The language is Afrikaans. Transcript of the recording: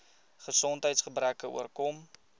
gesondheids gebreke oorkom